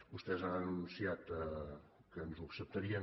vostès han anunciat que ens ho acceptarien